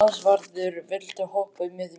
Ásvarður, viltu hoppa með mér?